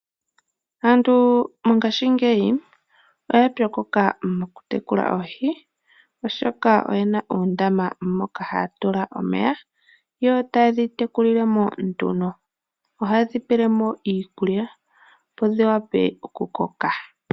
Aantu mongashingeyi oya pwokoka mokutekula oohi oshoka oye na oondama moka haya tula omeya yo taye dhi tekulilemo nduno, ohaye dhi pelemo iikulya opo dhi wape okukoka.